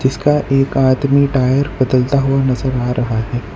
इसका एक आदमी टायर बदलता हुआ नजर आ रहा है।